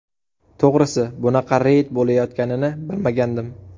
To‘g‘risi, bunaqa reyd bo‘layotganini bilmagandim.